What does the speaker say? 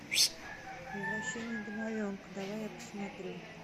возвращение домовенка давай я посмотрю